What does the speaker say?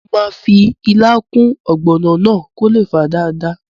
Mo máa fi ilá kún ọ̀gbọ̀nà náà kó lè fà dáadáa